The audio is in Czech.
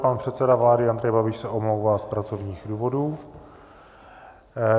Pan předseda vlády Andrej Babiš se omlouvá z pracovních důvodů.